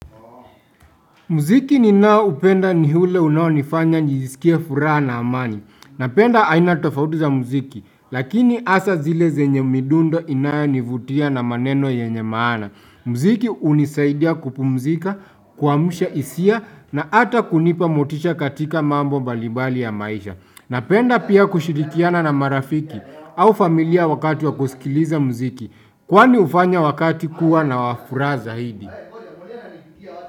Muziki ninao upenda ni ule unaonifanya nijiskie furaha na amani. Napenda aina tofauti za muziki, lakini hasa zile zenye midundo inayo nivutia na maneno yenye maana. Muziki hunisaidia kupumzika, kuamsha hisia na ata kunipa motisha katika mambo mbali mbali ya maisha. Napenda pia kushirikiana na marafiki au familia wakati wa kusikiliza muziki. Kwani hufanya wakati kuwa na furaha zaidi.